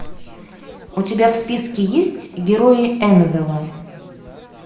у тебя в списке есть герои энвелла